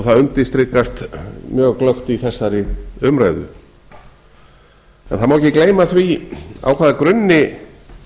það undirstrikast mjög glöggt í þessari umræðu það má ekki gleyma því á hvaða grunni